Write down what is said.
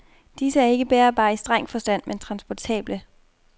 Disse er ikke bærbare i streng forstand, men transportable.